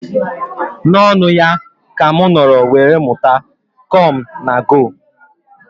Na ọṅụ ya ka m nọrọ were mụta "come na go"